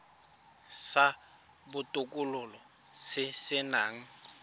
sa botokololo se se nang